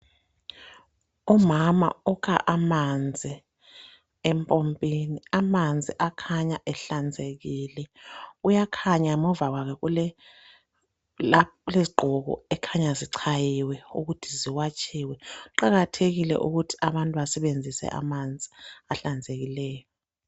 Umama ukha amanzi empompini amanzi akhanya ahlanzekile kuyakhanya ngemuva kwakhe kulezi gqoko okukhanya zichayiwe ukuthi ziwatshiwe, kuqakathekike ukuthi abantu basebenzise amanzi ahlanzekileyo.